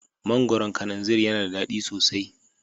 Mangoron kananzir yana da daɗi sosai